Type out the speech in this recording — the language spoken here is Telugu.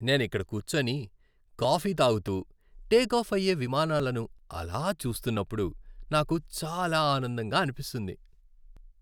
నేనిక్కడ కూర్చొని కాఫీ తాగుతూ టేకాఫ్ అయ్యే విమానాలను అలా చూస్తూన్నప్పుడు నాకు చాలా ఆనందంగా అనిపిస్తుంది.